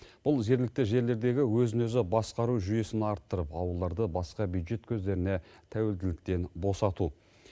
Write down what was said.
бұл жергілікті жерлердегі өзін өзі басқару жүйесін арттырып ауылдарды басқа бюджет көздеріне тәуелділіктен босату